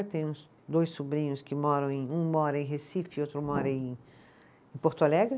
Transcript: Eu tenho dois sobrinhos que moram em, um mora em Recife, outro mora em, em Porto Alegre.